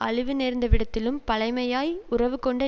அழிவுநேர்ந்தவிடத்திலும் பழைமையாய் உறவு கொண்டு